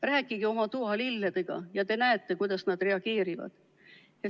Rääkige oma toalilledega, ja te näete, kuidas nad reageerivad.